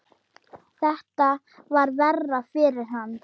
Þetta var verra fyrir hana.